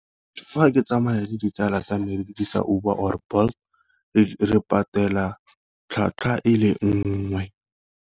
Fa ke tsamaya le ditsala tsa me re dirisa Uber or Bolt re patela tlhwatlhwa e le nngwe.